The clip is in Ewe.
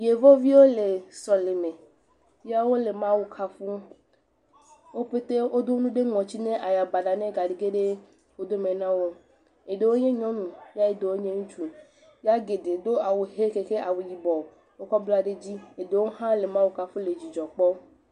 Yevoviwo le sɔleme ye wole Mawu kafum eye wo pete wodo nu ɖe ŋɔti be aya baɖa magage ɖe ŋɔti me na wo o. Eɖewo nyɔ nyɔnu eye ɖewo nye ŋutsu ya geɖe do awu he kaxe awu yibɔ wokɔ bla ɖe edzi, eɖewo hã le Mawu kafum le dzidzɔ kpɔm.